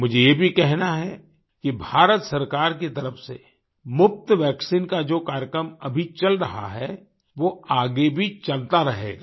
मुझे ये भी कहना है कि भारत सरकार की तरफ से मुफ़्त वैक्सीन का जो कार्यक्रम अभी चल रहा है वो आगे भी चलता रहेगा